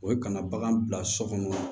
O ye ka na bagan bila so kɔnɔ